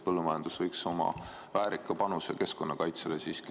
Põllumajandus võiks anda väärika panuse keskkonnakaitsesse.